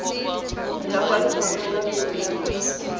ya kwa lefapha la merero